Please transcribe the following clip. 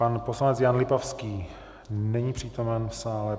Pan poslanec Jan Lipavský není přítomen v sále.